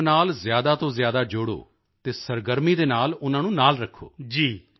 ਇਸ ਕੰਮ ਨਾਲ ਜ਼ਿਆਦਾ ਤੋਂ ਜ਼ਿਆਦਾ ਜੋੜੋ ਅਤੇ ਸਰਗਰਮੀ ਦੇ ਨਾਲ ਉਨ੍ਹਾਂ ਨੂੰ ਨਾਲ ਰੱਖੋ